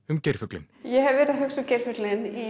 um geirfuglinn ég hef verið að hugsa um geirfuglinn i